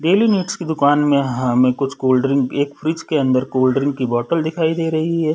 Daily needs की दुकान में हमें कुछ कोल्डड्रिंक एक फ्रिज के अंदर कोल्डड्रिंक की बोटल दिखाई दे रही हैं ।